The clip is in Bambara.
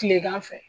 Kilegan fɛ